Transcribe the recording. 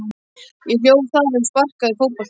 Ég hljóp þar um og sparkaði fótbolta.